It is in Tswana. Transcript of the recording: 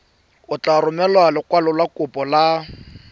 o tla romela lekwalokopo la